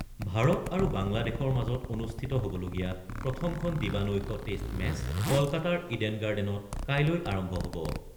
ভাৰত আৰু বাংলাদেশৰ মাজত অনুষ্ঠিত হ'বলগীয়া প্ৰথমখন দিবা-নৈশ টেষ্ট মেচ কলকাতাৰ ইডেন গাৰ্ডেনচত কাইলৈ আৰম্ভ হ'ব।